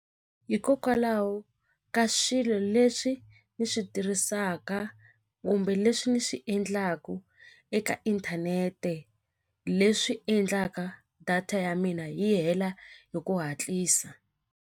Hikokwalaho ka swilo leswi ni swi tirhisaka kumbe leswi ni swi endlaku eka inthanete leswi endlaka data ya mina yi hela hi ku hatlisa.